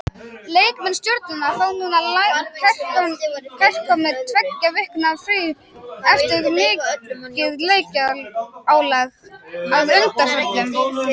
Leikmenn Stjörnunnar fá núna kærkomið tveggja vikna frí eftir mikið leikjaálag að undanförnu.